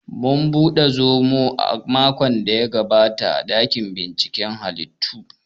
Mun buɗe zomo makon daya gabata a ɗakin binciken hallitu w